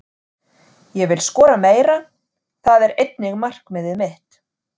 Ég vil skora meira, það er einnig markmiðið mitt.